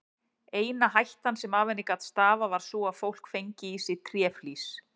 Eina hættan sem af henni gat stafað var sú að fólk fengi í sig tréflís.